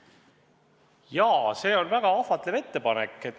Jaa, see on väga ahvatlev ettepanek.